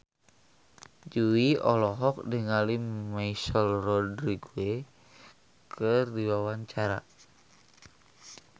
Jui olohok ningali Michelle Rodriguez keur diwawancara